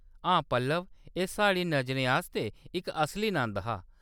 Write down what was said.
हां पल्लव ! एह्‌‌ साढ़ी नजरेंआस्तै इक असली नंद हा।